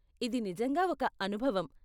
ఇది నిజంగా ఒక అనుభవం.